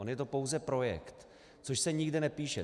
On je to pouze projekt, což se nikde nepíše.